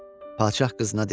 Padşah qızına dedi: